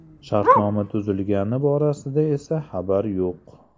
Shartnoma tuzilgani borasida esa xabar yo‘q.